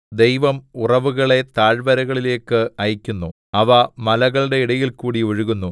ദൈവം ഉറവുകളെ താഴ്വരകളിലേക്ക് അയയ്ക്കുന്നു അവ മലകളുടെ ഇടയിൽകൂടി ഒഴുകുന്നു